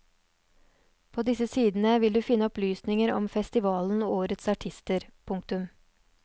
På disse sidene vil du finne opplysninger om festivalen og årets artister. punktum